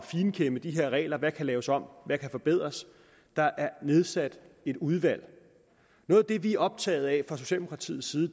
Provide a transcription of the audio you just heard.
finkæmme de her regler og der kan laves om hvad der kan forbedres der er nedsat et udvalg noget af det vi er optaget af fra socialdemokratiets side